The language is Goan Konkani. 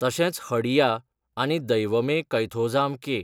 तशेंच हडिया आनी दैवमे कैथोझाम के.